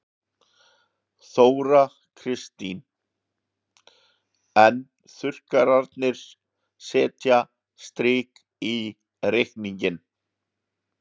Þóra Kristín: En þurrkarnir setja strik í reikninginn?